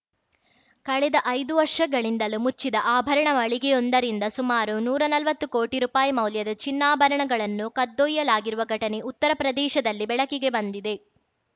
ಕಳೆದ ಐದು ವರ್ಷಗಳಿಂದಲೂ ಮುಚ್ಚಿದ ಆಭರಣ ಮಳಿಗೆಯೊಂದರಿಂದ ಸುಮಾರು ನೂರಾ ನಲ್ವತ್ತು ಕೋಟಿ ರೂಪಾಯಿ ಮೌಲ್ಯದ ಚಿನ್ನಾಭರಣಗಳನ್ನು ಕದ್ದೊಯ್ಯಲಾಗಿರುವ ಘಟನೆ ಉತ್ತರ ಪ್ರದೇಶದಲ್ಲಿ ಬೆಳಕಿಗೆ ಬಂದಿದೆ